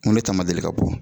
N ko ne ta ma deli ka bɔ.